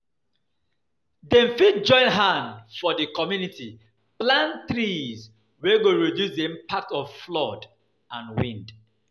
Dem fit join hand for di community plant trees wey go reduce the impact of flood and wind